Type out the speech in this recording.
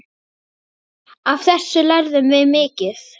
Af þessu lærðum við mikið.